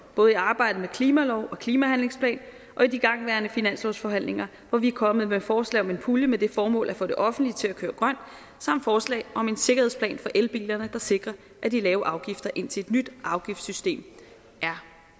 både i arbejdet med en klimalov og klimahandlingsplan og i de igangværende finanslovsforhandlinger hvor vi er kommet med forslag om en pulje med det formål at få det offentlige til at køre grønt samt forslag om en sikkerhedsplan for elbilerne der sikrer de lavere afgifter indtil et nyt afgiftssystem er